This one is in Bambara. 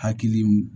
Hakili